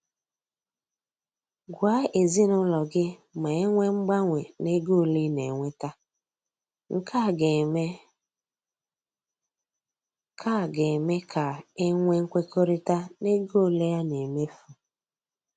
Gwa ezinaụlọ gị ma enwee mgbanwe na ego ole ị na-enweta, nke a ga-eme ka ga-eme ka e nwee nkwekọrịta n'ego ole a na emefu.